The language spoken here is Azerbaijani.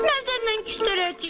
Mən səndən küstərəcəyəm.